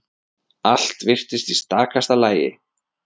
Allt virtist í stakasta lagi.